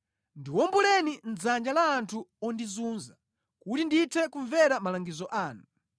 Ndiwomboleni mʼdzanja la anthu ondizunza, kuti ndithe kumvera malangizo anu.